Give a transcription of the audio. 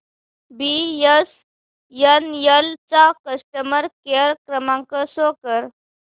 BSNL चा customer care क्रमांक show कर